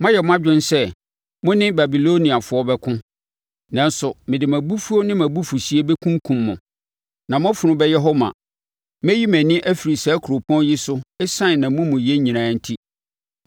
Moayɛ mo adwen sɛ mo ne Babiloniafoɔ bɛko, nanso mede mʼabufuo ne mʼabufuhyeɛ bɛkunkum mo, na mo afunu bɛyɛ hɔ ma. Mɛyi mʼani afiri saa kuropɔn yi so ɛsiane nʼamumuyɛ nyinaa enti.